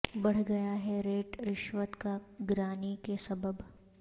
بڑھ گیا ہے ریٹ رشوت کا گرانی کے سبب